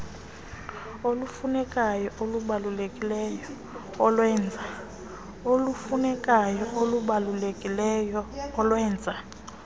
olufunekayo olubalulekileyo olwenza